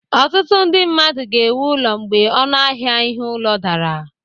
Ọtụtụ ndị mmadụ ga-ewu ụlọ mgbe ọnụ ahịa ihe ụlọ dara